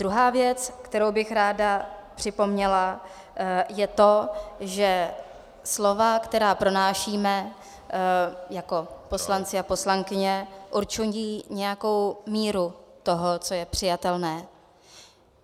Druhá věc, kterou bych ráda připomněla, je to, že slova, která pronášíme jako poslanci a poslankyně, určují nějakou míru toho, co je přijatelné.